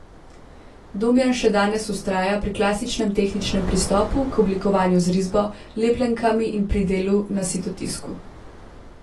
Domjan še danes vztraja pri klasičnem tehničnem pristopu k oblikovanju z risbo, lepljenkami in pri delu na sitotisku.